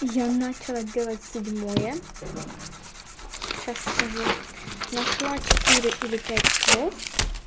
я начала делать седьмое сейчас скажу нашла четыре или пять слов